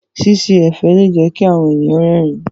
Ṣíṣe ẹ̀fẹ̀ lè jẹ́ kí àwọn ẹ̀yàn rẹ́rìn-ín.